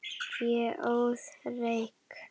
Ég óð reyk.